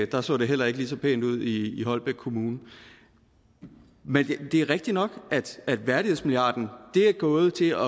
der er så det heller ikke lige så pænt ud i holbæk kommune men det er rigtigt nok at værdighedsmilliarden er gået til